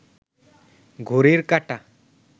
ঘড়িটির কাঁটা